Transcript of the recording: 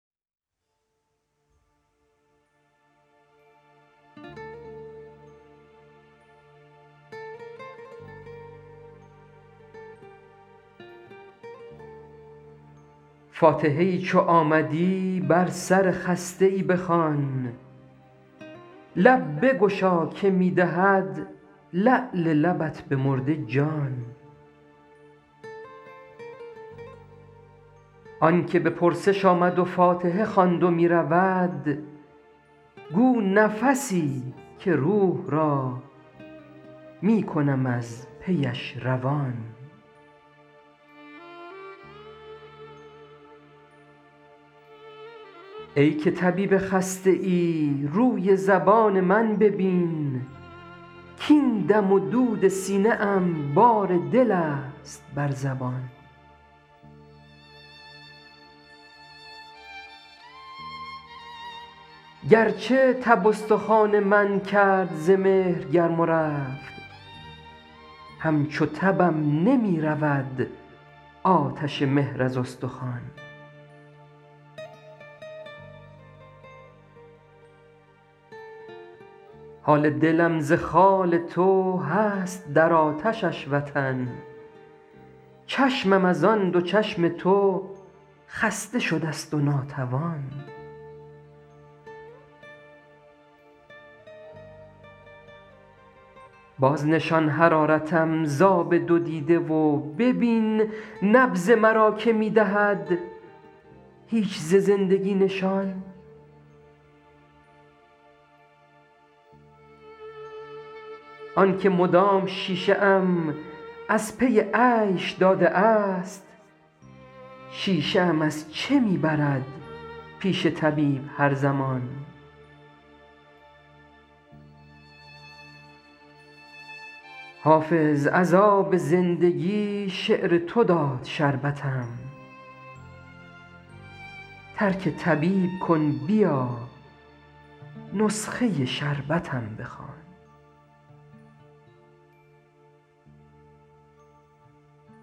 فاتحه ای چو آمدی بر سر خسته ای بخوان لب بگشا که می دهد لعل لبت به مرده جان آن که به پرسش آمد و فاتحه خواند و می رود گو نفسی که روح را می کنم از پیش روان ای که طبیب خسته ای روی زبان من ببین کـاین دم و دود سینه ام بار دل است بر زبان گرچه تب استخوان من کرد ز مهر گرم و رفت همچو تبم نمی رود آتش مهر از استخوان حال دلم ز خال تو هست در آتشش وطن چشمم از آن دو چشم تو خسته شده ست و ناتوان بازنشان حرارتم ز آب دو دیده و ببین نبض مرا که می دهد هیچ ز زندگی نشان آن که مدام شیشه ام از پی عیش داده است شیشه ام از چه می برد پیش طبیب هر زمان حافظ از آب زندگی شعر تو داد شربتم ترک طبیب کن بیا نسخه شربتم بخوان